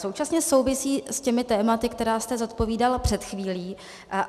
Současně souvisí s těmi tématy, která jste zodpovídal před chvílí.